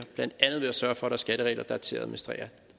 blandt andet ved at sørge for er skatteregler der er til at administrere